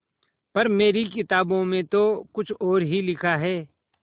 पर मेरी किताबों में तो कुछ और ही लिखा है